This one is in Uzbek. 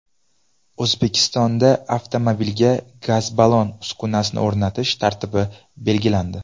O‘zbekistonda avtomobilga gaz-ballon uskunasini o‘rnatish tartibi belgilandi.